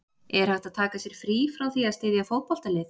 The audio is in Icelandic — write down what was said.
Er hægt að taka sér frí frá því að styðja fótboltalið?